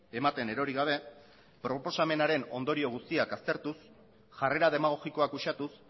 ematen erori gabe proposamenaren ondorio guztiak aztertuz jarrera demagogikoak uxatuz